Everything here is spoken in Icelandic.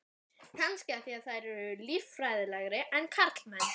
Kannski af því þær eru líffræðilegri en karlmenn.